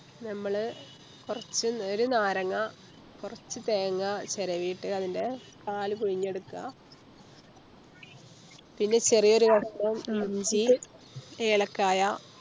ഞമ്മള് കൊർച്ച് ഒരു നാരങ്ങാ കൊർച്ച് തേങ്ങ ചെരവിട്ട് അതിൻറെ പാല് പിഴിഞ്ഞെടുക്കുക പിന്നെ ചെറിയൊരു കഷ്ണം ഇഞ്ചി ഏലക്കായ